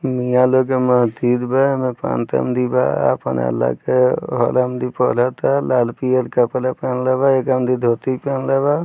मिया लोग के मस्जिद बा। एमें भी बा अपन अल्ला के पढ़ता। लाल-पियर कपड़ा पेहेनले बा एक आदमी धोती पेहेनले बा।